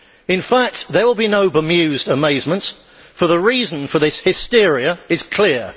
In fact, there will be no bemused amazement, for the reason for this hysteria is clear.